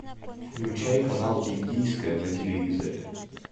включай канал индийское на телевизоре